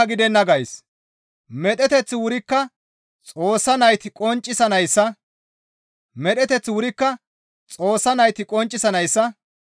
Medheteththi wurikka Xoossa nayti qonccanayssa laamoteththan naagon dees.